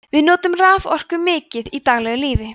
við notum raforku mikið í daglegu lífi